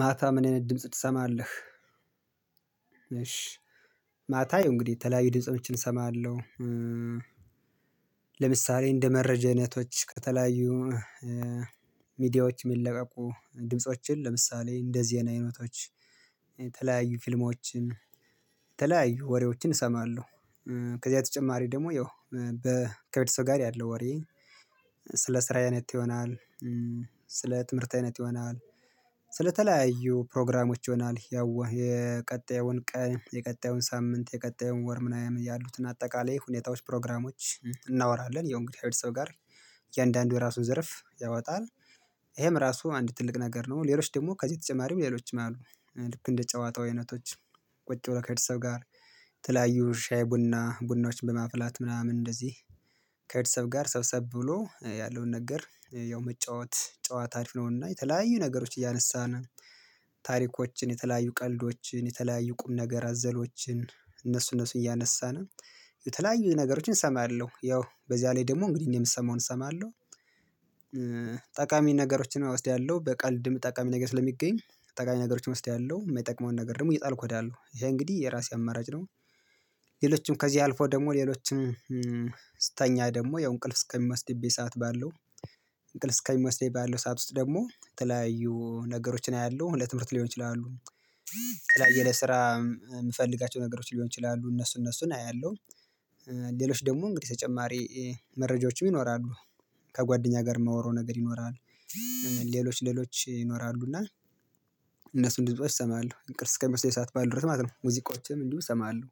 ማታም እኔ ድምጽ ትሰማለህ? እሺ ማታ ያው እንግዲህ የተለያዩ ድምፆችን እሰማለሁ። ለምሳሌ እንደ መረጃ አይነቶች ከተለያዩ ሚዲያዎች የሚለቀቁ ድምፆችን ለምሳሌ እንደ ዜና አይነቶች የተለያዩ ፊልሞችን የተለያዩ ወሬዎችን እሰማለሁ። ከዚያ በተጨማሪ ደግሞ ያው በ ከቤተሰብ ጋር ያለ ወሬ ስለ ስራዬ አይነት ይሆናል። ስለ ትምህርት አይነት ይሆናል ስለተለያዩ ፕሮግራሞች ይሆናል ያው የቀጣዩን ቀን የቀጣዩን ሳምንት የቀጣዩን ወር ምናምን ያሉትን አጠቃላይ ሁኔታዎች ፕሮግራሞች እናወራለን። ያው እንግዲህከ ሰው ጋር እያንዳንዱ የራሱን ዘርፍ ያወጣል ይሄም ራሱ አንድ ትልቅ ነገር ነው። ሌሎች ደግሞ ከዚህ ተጨማሪም ሌሎችም አሉ። ልክ እንደ ጨዋታው አይነቶች ቁጭ ብሎ ከቤተሰብ ጋር የተለያዩ ሻይ ቡና ቡናዎችን በማፍላት ምናምን እንደዚህ። ከቤተሰብ ጋር ሰብሰብ ብሎ ያለውን ነገር ያው መጫወት ጨዋታ አሪፍ ነውና የተለያዩ ነገሮች እያነሳን ታሪኮችን የተለያዩ ቀልዶችን የተለያዩ ቁም ነገር አዘሎችን እነሱ እነሱ እያነሳን የተለያዩ ነገሮችን እሰማለሁ ያው በዚያ ላይ ደግሞ እንግዲህ እኔ የምሰማውን እሰማለሁ። ጠቃሚ ነገሮችን እወስዳለሁ በቀልድም ጠቃሚ ነገር ስለሚገኝ ጠቃሚ ነገሮችን እወስዳለሁ የማይጠቅመውን ነገር ደግሞ እየጣልኩ እሄዳለሁ ያ እንግዲህ የራሴ አማራጭ ነው። ሌሎችም ከዚህ አልፎ ደግሞ ሌሎችን ስተኛ ደግሞ ያው እንቅልፍ እስከሚመስድብኝ ሰዓት ባለው እንቅልፍ እስከሚመስደኝ ባለው ሰዓት ውስጥ ደግሞ የተለያዩ ነገሮችን አያለሁ ለትምህርት ሊሆን ይችላሉ። ስራ የምፈልጋቸው ነገሮች ሊሆን ይችላሉ እነሱ እነሱን አያለሁ። ሌሎች ደግሞ እንግዲህ ተጨማሪ መረጃዎችም ይኖራሉ። ከጓደኛ ጋር ማውራው ነገር ይኖራል። ሌሎች ሌሎች ይኖራሉና እነሱን ድምጾች እሰማለሁ እንቅልፍ እስከሚወስደኝ ሰዓት ባለው ድረስ ማለት ነው። ሙዚቃዎችንም እንዲሁ እሰማለሁ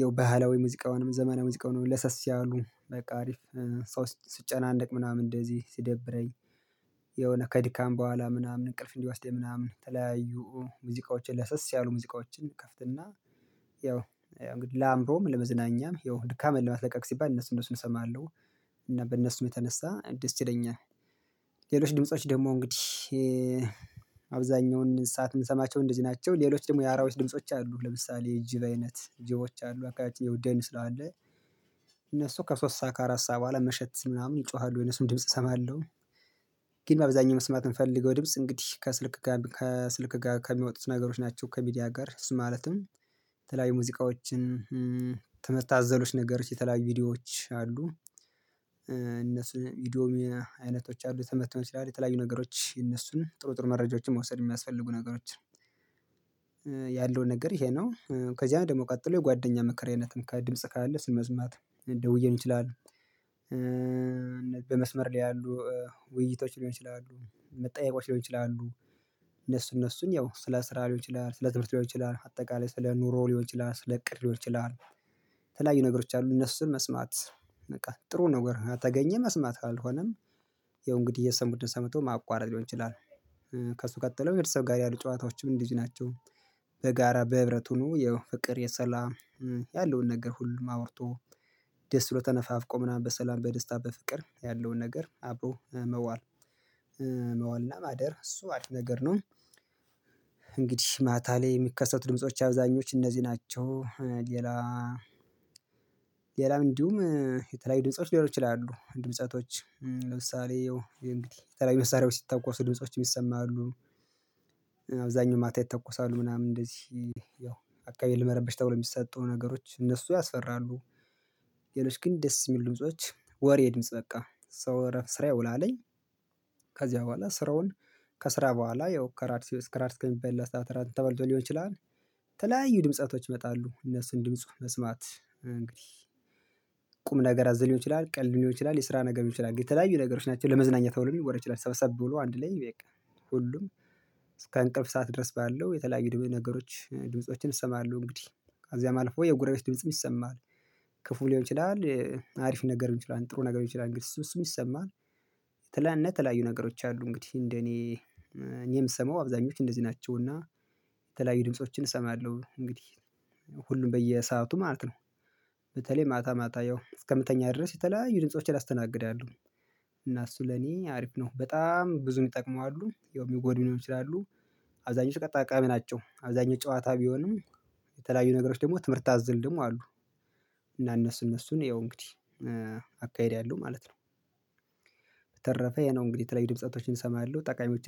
ያው ባህላዊ ሙዚቃውንም ዘመነ ሙዚቃውንም ለሰስ ያሉ በቃ አሪፍ ሰው ሲጨናነቅ ምናምን እንደዚህ ሲደብረኝ። የሆነ ከዲካም በኋላ ምናምን እንቅልፍ እንዲወስደኝ ምናምን የተለያዩ ሙዚቃዎችን ለሰስ ያሉ ሙዚቃዎችን እከፍትና ያው እንግዲህ ለአእምሮም ለመዝናኛም ያው ድካምን ለማስለቀቅ ሲባል እነሱ እነሱን እሰማለሁ። እና በእነሱም የተነሳ ደስ ይለኛል ሌሎች ድምጾች ደግሞ እንግዲህ አብዛኛውን ሰዓት የምንሰማቸው እንደዚህ ናቸው። ሌሎች ደግሞ የአራዊች ድምጾች አሉ ለምሳሌ የጅብ አይነት ጅቦች አሉ ደም ስላለ እነሱ ከሶስት ሰዓት ከአራት ሰዓት በኋላ መሸት ሲሕ ምናምን ይጮሃሉ የነሱን ድምጽ እሰማለሁ። ግን በአብዛኛው መስማት የምፈልገው ድምጽ እንግዲህ ከስልክ ከስልክ ጋር ከሚወጡት ነገሮች ናቸው ከሚዲያ ጋር ማለትም። የተለያዩ ሙዚቃዎችን ትምህርት አዘሎች ነገሮች የተለያዩ ቪዲዮዎች አሉ። ዲዶሚና አይነቶች አሉ የትምት ሊሆን ይችላል የተለያዩ ነገሮች የነሱን ጥሩ ጥሩ መረጃዎችን መውሰድ የሚያስፈልጉ ነገሮች። ያለውን ነገር ይሄ ነው ከዚያ ደግሞ ቀጥሎ የጓደኛ ምክር አይነትም ከ ድምጽ ካለ እሱን መስማት እንደ ውይን ይችላል። በመስመር ላይ ያሉ ውይይቶች ሊሆን ይችላሉ መጠየቆች ሊሆን ይችላሉ። እነሱ እነሱን ያው ስለ ስራ ሊሆን ይችላል ስለ ትምርት ሊሆን ይችላል አጠቃላይ ስለ ኑሮ ሊሆን ይችላል ስለ እቅድ ሊሆን ይችላል። የተለያዩ ነገሮች አሉ እነሱን መስማት በቃ ጥሩ ነገር ከተገኘ መስማት አልሆነም ያው እንግዲህ የሰሙትን ሰምቶ ማቋረጥ ሊሆን ይችላል። ከሱ ቀጥለው የቤተሰብ ጋር ያሉ ጨዋታዎችም እንደዚህ ናቸው። በጋራ በህብረት ሁኖ ያው ፍቅር የሰላም ያለውን ነገር ሁሉም አውርቶ ደስ ብሎ ተነፋፍቆ ምናምን በሰላም በደስታ በፍቅር ያለውን ነገር አብሮ መዋል። መዋልና ማደር እሱ አሪፍ ነገር ነው። እንግዲህ ማታ ላይ የሚከሰቱ ድምጾች አብዛኞች እነዚህ ናቸው። ሌላ ሌላም እንዲሁም የተለያዩ ድምጾች ሊሆኑ ይችላሉ ድምፀቶች ለምሳሌ ያው እንግዲህ የተለያዩ መሳሪያዎች ሲተኮሱ ድምጾችም ይሰማሉ። አብዛኛው ማታ ይተኮሳሉ ምናምን እንደዚህ ያው አካባቢ ለመረብሽ ተብሎ የሚሰጡ ነገሮች እነሱ ያስፈራሉ። ሌሎች ግን ደስ የሚሉ ድምጾች ወሬ ድምጽ በቃ ሰው እረፍት ስራ ይውላልኝ። ከዚያ በኋላ ስራውን ከስራ በኋላ ያው ከራድ እስከራድ እስከሚበላ ሰዓት እራት ተበልቶ ሊሆን ይችላል። የተለያዩ ድምጸቶች ይመጣሉ እነሱን ድምጽ መስማት እንግዲህ። ቁም ነገር አዘል ሊሆን ይችላል ቀልድ ሊሆን ይችላል የስራ ነገር ሊሆን ይችላል የተለያዩ ነገሮች ናቸው ለመዝናኛ ተብሎ ሊወራ ይችላል ሰበሰብ ብሎ አንድ ላይ ቤቃ ሁሉም እስከ እንቅልፍ ሰዓት ድረስ ባለው የተለያዩ ድም ነገሮች ድምፆችን እሰማለሁ እንግዲህ። ከዚያም አልፎ የጎራቤት ድምጽም ይሰማል። ክፉ ሊሆን ይችላል። አሪፍ ነገር ሊሆን ይችላል ጥሩ ነገር ይችላል እንግዲህ እሱ ይሰማል። የተለያዩ ነገሮች አሉ እንግዲህ እንደኔ እኔ የምሰማው አብዛኞች እንደዚህ ናቸው። እና የተለያዩ ድምፆችን እሰማለሁ። እንግዲህ ሁሉም በየሰአቱ ማለት ነው። በተለይ ማታ ማታ ያው እስከ ምተኛ ድረስ የተለያዩ ድምፆችን አስተናግዳለሁ። እና እሱ ለኔ አሪፍ ነው በጣም ብዙ ሚጠቅሙ አሉ ያው ሚጎዱ ሊኖሩ ይችላሉ። አብዛኞቹ ጠቃሚ ናቸው። አብዛኞቹ ጨዋታ ቢሆኑም የተለያዩ ነገሮች ደግሞ ትምህርት አዘል ደሞ አሉ። እና እነሱ እነሱን ያው እንግዲህ አካሄድ ያለው ማለት ነው። በተረፈ ይሄ ነው እንግዲህ የተለያዩ ድምጸቶችን እሰማለሁ ጠቃሚዎችን